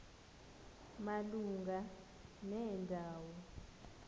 malunga nenda wo